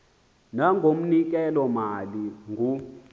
nangoknonkela malu ngu